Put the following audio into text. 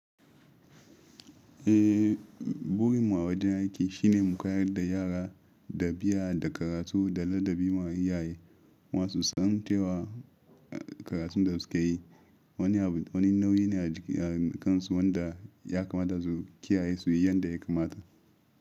Eh, burin mu a wajen aiki shine mu koyar da yara ɗabi'a da karatu da ladabi ma iyaye masu san cewa karatu da su ka yi. Wani nauyi ne a kansu wanda ya kamata su kiyaye su yi yadda ya kamata.